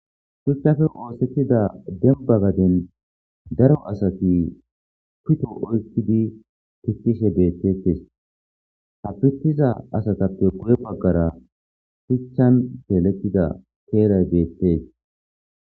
Shuchappe oosetida demba garden Daro asati pito oykidi pitishe deetes qase pitiza asatappe guye bagara shuchan keexetida keelay beetes